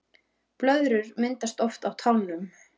Blöðrur myndast oft á tánum